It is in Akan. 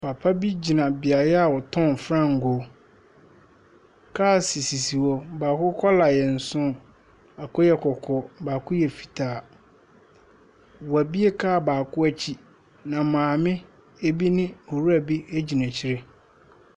Papa bi gyina beaeɛ a wɔtɔn fangoo. Cars sisi hɔ. Bɔɔko kɔla yɛ nson, baako yɛ kɔkɔɔ, baako yɛ fitaa. Wɔabue kaa baako akyi, na maame bi ne owura bi gyina akyire.